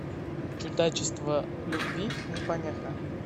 чудачество любви не помеха